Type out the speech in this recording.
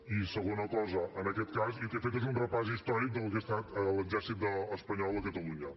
i segona cosa en aquest cas jo el que he fet és un repàs històric del que ha estat l’exèrcit espanyol a catalunya